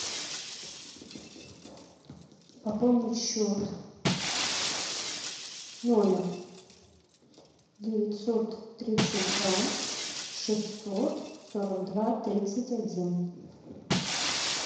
пополнить счет номер девятьсот тридцать два шестьсот сорок два тридцать один